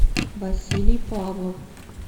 василий павлов